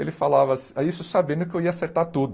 Ele falava isso sabendo que eu ia acertar tudo.